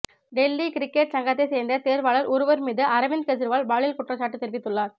Delhi cricket சங்கத்தை சேர்ந்த தேர்வாளர் ஒருவர் மீது அரவிந்த் கெஜ்ரிவால் பாலியல் குற்றச்சாட்டு தெரிவித்துள்ளார்